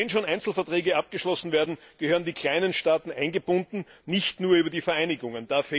Und wenn schon Einzelverträge abgeschlossen werden, gehören die kleinen Staaten eingebunden, nicht nur über die Vereinigungen.